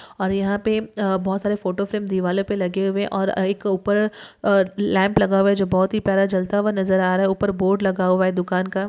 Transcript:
और यहा पे बहुत सारे फोटो फ्रेम दीवालो पे लगे हुए है और एक उपर अ लॅम्प लगा हुआ है जो बहुत ही प्यारा जलता हुआ नज़र आ रहा उपर बोर्ड लगा हुआ है दुकान का।